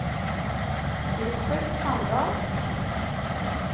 Robert Sandal